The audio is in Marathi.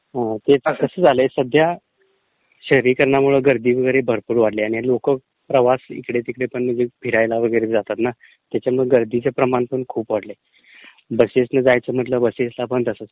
हो...ते कसं झालयं सध्या शहरीकरणामुळे गर्दी वगैरे भरपूर वाढलिय. लोकं पण ते प्रवास इकडे तिकडे पण फिरायला वगैरे जातात ना त्याच्यामुळे गर्दीचं प्रमाण खूप वाढलयं, बसेसनी जायचं म्हटलं तर बसेसना पण तसचं.